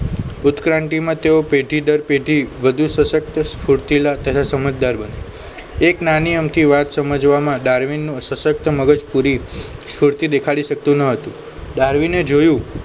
ઉત્ક્રાંતિમાં તેઓ પેઢી દર પેઢી વધુ સશક્ત સ્ફુર્તીલા તથા સમજદાર બને એક નાની અમથી વાત સમજવામાં ડાર્વિનનું સશક્ત મગજ પૂરી સ્પુરતી દેખાડી શકતું ન હતું ડાર્વિને જોયું